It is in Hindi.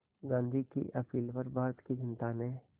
गांधी की अपील पर भारत की जनता ने